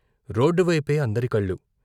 Road వైపే అందరి కళ్ళు.